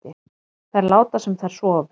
Þær láta sem þær sofi